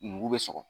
Nugu bɛ sɔgɔ